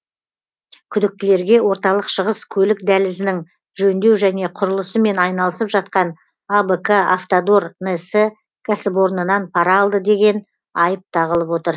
күдіктілерге орталық шығыс көлік дәлізінің жөндеу және құрылысымен айналысып жатқан абк автодор нс кәсіпорнынан пара алды деген айып тағылып отыр